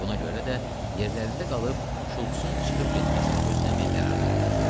Buna görə də yerlərində qalıb Şulc-un çıxıb getməsini gözləmək qərarına gəldilər.